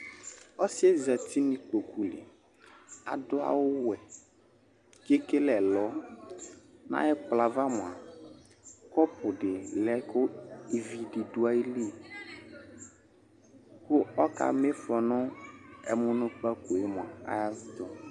Ɔsɩ ƴɛ zati nʋ iƙpoƙu li t' aɖʋ awʋ wɛ, t' eƙele ɛlɔNʋ aƴʋ ɛƙplɔ ƴɛ ava mʋa, ƙɔpʋ ɖɩ lɛ ƙʋ ivi ɖʋ aƴili, ƙʋ ɔƙa ma ɩfɔ nʋ ɛmʋnʋƙpaƙo ƴɛ